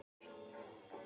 Er nú séð á enda á því.